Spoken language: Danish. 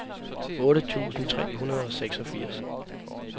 otte tusind tre hundrede og seksogfirs